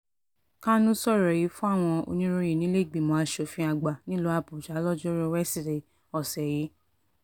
kánú sọ̀rọ̀ yìí fáwọn oníròyìn nílẹ̀ẹ́gbìmọ̀ asòfin àgbà nílùú àbújá lojoruu wesidee ọ̀sẹ̀ yìí